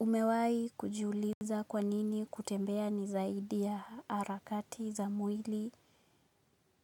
Umewai kujiuliza kwa nini kutembea ni zaidi ya arakati za mwili